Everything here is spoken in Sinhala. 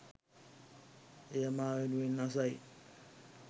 එය මා වෙනුවෙන් අසයි